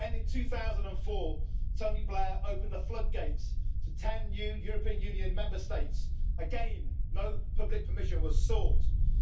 then, in 2004, Tony Blair opened the floodgates to 10 new European Union Member States again, no public permission was sought.